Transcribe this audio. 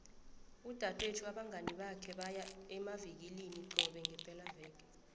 udadwethu nabangani bakhe baya emavikilina qobe ngepelaveke